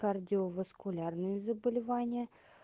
кардиоваскулярные заболевания